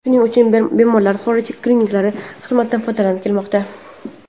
Shuning uchun bemorlar xorij klinikalari xizmatidan foydalanib kelmoqda.